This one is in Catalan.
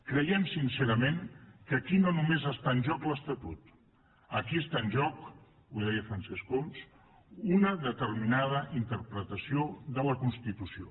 creiem sincerament que aquí no només està en joc l’estatut aquí està en joc ho deia francesc homs una determinada interpretació de la constitució